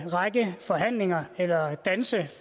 række forhandlinger eller danse